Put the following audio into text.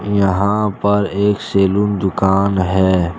यहां पर एक सैलून दुकान है।